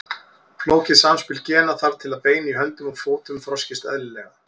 Flókið samspil gena þarf til að bein í höndum og fótum þroskist eðlilega.